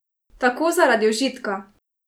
Tako, zaradi užitka.